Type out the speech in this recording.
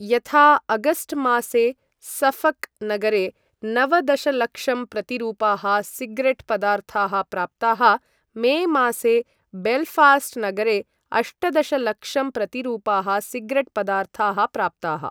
यथा, अगस्ट् मासे सफ़क् नगरे नव दशलक्षं प्रतिरूपाः सिगरेट् पदार्थाः प्राप्ताः, मे मासे बेल्फ़ास्ट् नगरे अष्ट दशलक्षं प्रतिरूपाः सिगरेट् पदार्थाः प्राप्ताः।